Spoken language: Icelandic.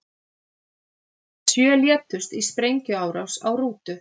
Sjö létust í sprengjuárás á rútu